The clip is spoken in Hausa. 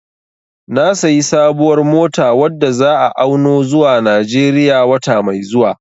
Na sayi sabuwar mota wadda za'a auno zuwa Najeriya wata mai zuwa